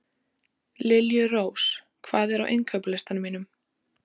Liljurós, hvað er á innkaupalistanum mínum?